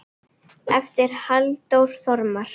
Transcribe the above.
eftir Halldór Þormar